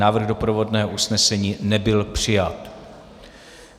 Návrh doprovodného usnesení nebyl přijat.